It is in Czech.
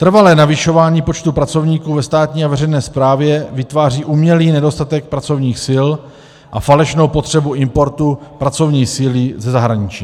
Trvalé navyšování počtu pracovníků ve státní a veřejné správě vytváří umělý nedostatek pracovních sil a falešnou potřebu importu pracovní síly ze zahraničí.